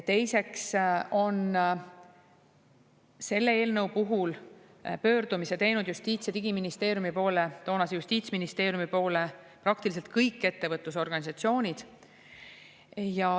Teiseks on selle eelnõu puhul teinud pöördumise Justiits- ja Digiministeeriumi, toonase justiitsministeeriumi poole praktiliselt kõik ettevõtlusorganisatsioonid.